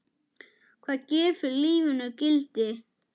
Hvað gefur lífinu gildi?